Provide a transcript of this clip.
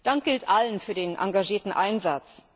Dank gilt allen für den engagierten Einsatz!